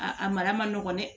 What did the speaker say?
A a mara ma nɔgɔn dɛ